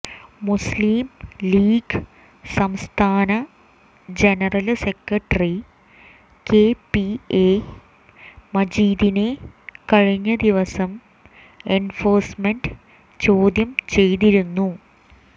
മുസ്ലീം League സംസ്ഥാന general secretary KPA മജീദിനെ കഴിഞ്ഞ ദിവസം എന്ഫോഴ്സ്മെന്റ് ചോദ്യം ചെയ്തിരുന്നു